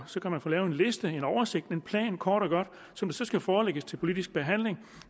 så kan man få lavet en liste en oversigt en plan kort og godt som skal forelægges til politisk behandling